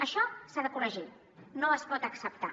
això s’ha de corregir no es pot acceptar